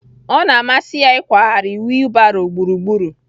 Ọ na-amasị ya ịkwagharị wiilbaro gburugburu